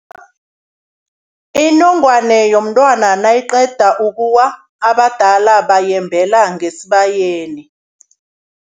Inongwana yomntwana nayiqeda ukuwa, abadala bayembela ngesibayeni.